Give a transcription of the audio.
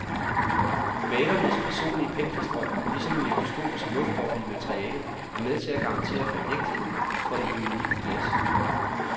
Malernes personlige penselstrøg, ligesom en mikroskopisk luftboble i materialet, er med til at garantere for ægtheden, for det unikke glas.